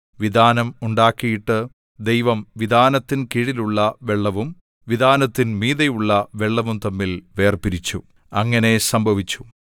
വിതാനം ഉണ്ടാക്കിയിട്ട് ദൈവം വിതാനത്തിൻ കീഴിലുള്ള വെള്ളവും വിതാനത്തിൻ മീതെയുള്ള വെള്ളവും തമ്മിൽ വേർപിരിച്ചു അങ്ങനെ സംഭവിച്ചു